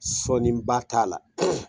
Sɔniba t'a la.